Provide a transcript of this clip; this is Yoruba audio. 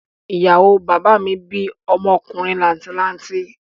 Ìyàwó bàbá mi bí ọmọkùnrin làǹtì lanti